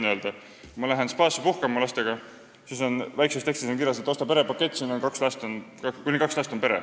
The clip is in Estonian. Kui ma lähen lastega spaasse puhkama, siis on seal väikses tekstis kirjas, et osta perepakett: pere on kuni kaks last.